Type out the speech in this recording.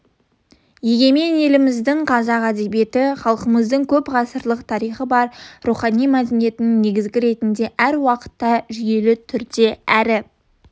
егемен еліміздің қазақ әдебиеті халқымыздың көп ғасырлық тарихы бар рухани мәдениеттің негізі ретінде әр уақытта жүйелі түрде әрі